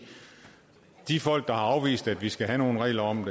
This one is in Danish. at de folk der har afvist at vi skal have nogle regler om